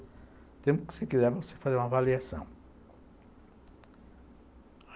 O tempo que você quiser, você faz uma avaliação.